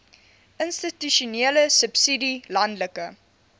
institusionele subsidie landelike